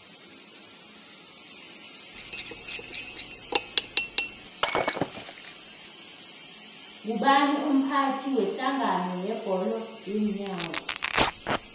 ngubani umphathi wedlangano yebholo yeenyawo